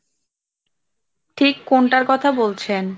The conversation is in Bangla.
ঠিক কোনটার কথা বলছেন ?